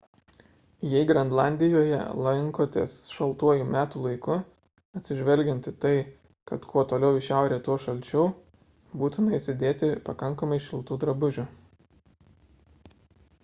jei grenlandijoje lankotės šaltuoju metų laiku atsižvelgiant į tai kad kuo toliau į šiaurę tuo šalčiau būtina įsidėti pakankamai šiltų drabužių